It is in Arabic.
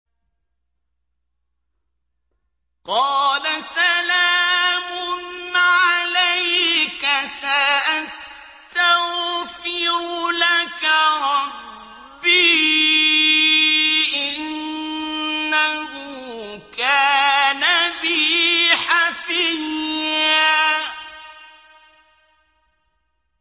قَالَ سَلَامٌ عَلَيْكَ ۖ سَأَسْتَغْفِرُ لَكَ رَبِّي ۖ إِنَّهُ كَانَ بِي حَفِيًّا